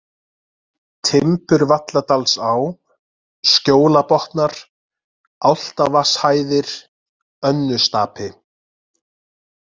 Timburvalladalsá, Skjólabotnar, Álftavatnshæðir, Önnustapi